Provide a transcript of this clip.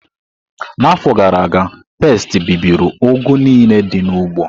N'afọ gara aga, pesti bibiri ugu niile dị n'ugbo.